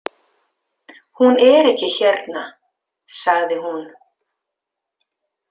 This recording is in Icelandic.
Hún er ekki hérna, sagði hún.